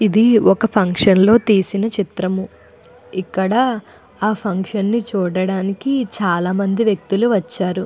ఇది ఒక ఫంక్షన్లో తీసిన చిత్రం. ఇక్కడ ఆ ఫంక్షన్ ని చూడడానికి చాలామంది వ్యక్తులు వచ్చారు.